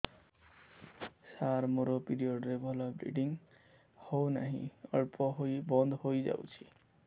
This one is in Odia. ସାର ମୋର ପିରିଅଡ଼ ରେ ଭଲରେ ବ୍ଲିଡ଼ିଙ୍ଗ ହଉନାହିଁ ଅଳ୍ପ ହୋଇ ବନ୍ଦ ହୋଇଯାଉଛି